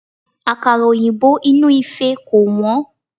Àkàrà òyìnbó inú ìfẹ́ kò wọ́n.